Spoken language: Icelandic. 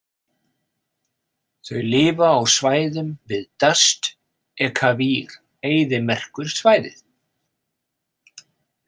Þau lifa á svæðum við Dasht-e-Kavir-eyðimerkursvæðið.